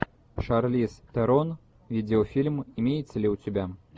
шарлиз терон видеофильм имеется ли у тебя